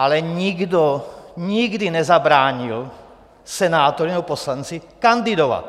Ale nikdo nikdy nezabránil senátorovi nebo poslanci kandidovat.